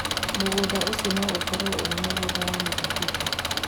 Mũgũnda ũcio no ũkorũo ũrĩ mũgũnda wa mĩthabibũ.